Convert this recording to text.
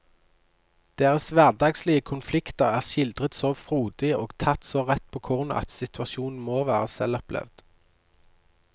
Deres hverdagslige konflikter er skildret så frodig og tatt så rett på kornet at situasjonene må være selvopplevd.